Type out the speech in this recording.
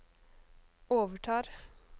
overtar